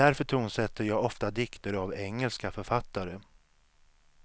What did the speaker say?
Därför tonsätter jag ofta dikter av engelska författare.